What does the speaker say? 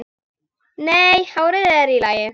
Nei, hárið er í lagi.